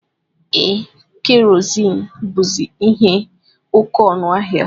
Ee, kerozini buzi ihe oke ọnụ ahịa.